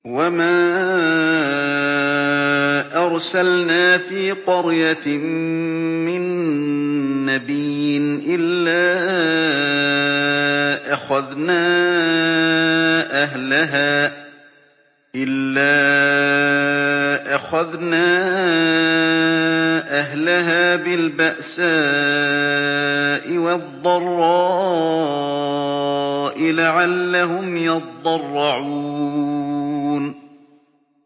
وَمَا أَرْسَلْنَا فِي قَرْيَةٍ مِّن نَّبِيٍّ إِلَّا أَخَذْنَا أَهْلَهَا بِالْبَأْسَاءِ وَالضَّرَّاءِ لَعَلَّهُمْ يَضَّرَّعُونَ